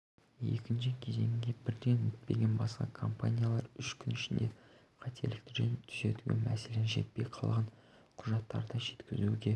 екінші кезеңге бірден өтпеген басқа компаниялар үш күн ішінде қателіктерін түзетуге мәселен жетпей қалған құжаттарды жеткізуге